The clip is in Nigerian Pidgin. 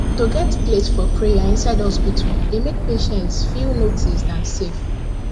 to get place for prayer inside hospital dey make patients feel noticed and safe